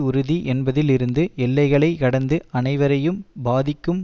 உறுதி என்பதில் இருந்து எல்லைகளை கடந்து அனைவரையும் பாதிக்கும்